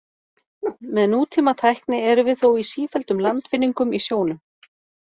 Með nútímatækni erum við þó í sífelldum landvinningum í sjónum.